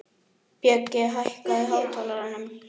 Bjöggi, hækkaðu í hátalaranum.